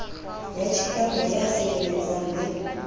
ba chikano ya sireletsang le